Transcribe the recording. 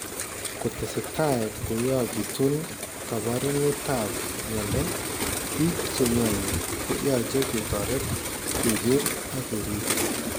Kotestai koyaakitun kaabarunetap mnyando, biik che mnyani ko yache ketoret, keker ak keriib.